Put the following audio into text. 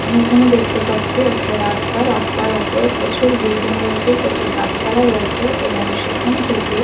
আমরা এখানে দেখতে পাচ্ছি একটি রাস্তা রাস্তার ওপর প্রচুর বিল্ডিং রয়েছে প্রচুর গাছপালা রয়েছে এবং সেখান থেকে ।